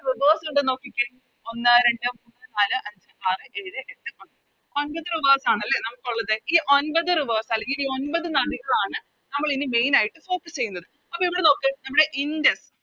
Rivers ഇണ്ട്ന്ന് നോക്കിക്കേ ഒന്ന് രണ്ട് മൂന്ന് നാല് അഞ്ച് ആറ് ഏഴ് എട്ട് ഒൻപത് ഒൻപത് Rivers ആണ് അല്ലെ നമുക്കൊള്ളത് ഈ ഒൻപത് Rivers അല്ലെങ്കി ഈ ഒൻപത് നദികളാണ് നമ്മളിനി Main ആയിട്ട് Focus ചെയ്യുന്നത് അപ്പൊ ഇവിടെ നോക്ക് നമ്മുടെ ഇൻഡസ്